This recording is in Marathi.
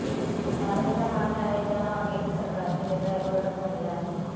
कारण ज्या मागण्या आहेत त्यामागे सरकारचे निर्णय अगोदरच झालेले आहेत